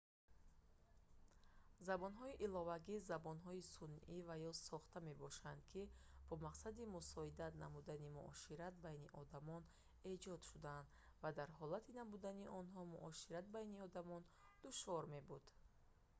забонҳои иловагӣ забонҳои сунъӣ ва ё сохта мебошанд ки бо мақсади мусоидат намудани муошират байни одамон эҷод шудаанд ва дар ҳолати набудани онҳо муошират байни одамон душвор мебуд